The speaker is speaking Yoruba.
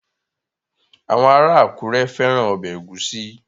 Àwọn ará Àkúrẹ́ fẹ́ran ọbẹ̀ ẹ̀gúsí